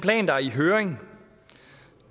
høring